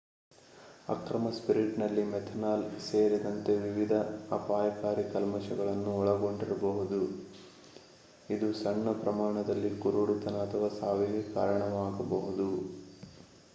ಅಕ್ರಮ ಸ್ಪಿರಿಟ್ ನಲ್ಲಿ ಮೆಥನಾಲ್ ಸೇರಿದಂತೆ ವಿವಿಧ ಅಪಾಯಕಾರಿ ಕಲ್ಮಶಗಳನ್ನು ಒಳಗೊಂಡಿರಬಹುದು ಇದು ಸಣ್ಣ ಪ್ರಮಾಣದಲ್ಲಿ ಕುರುಡುತನ ಅಥವಾ ಸಾವಿಗೆ ಕಾರಣವಾಗಬಹುದು